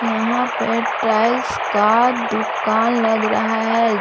यहाँ पे टाइल्स का दुकान लग रहा है।